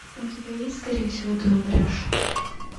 у тебя есть скорее всего ты умрешь